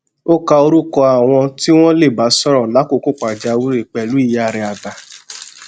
ó ka orúkọ àwọn tí wón lè bá sòrò lákòókò pàjáwìrì pèlú ìyá rè àgbà